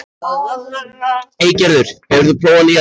Eygerður, hefur þú prófað nýja leikinn?